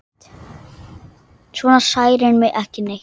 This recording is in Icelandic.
Svona særir mig ekki neitt.